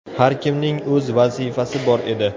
Har kimning o‘z vazifasi bor edi.